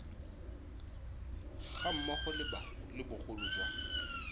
ga mmogo le bogolo jwa